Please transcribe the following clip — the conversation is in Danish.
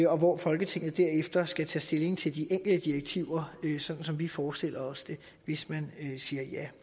og hvor folketinget derefter skal tage stilling til de enkelte direktiver sådan som vi forestiller os det hvis man siger ja